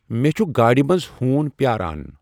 مے٘چھٗ گاڈِ منز ہوُن پیاران '۔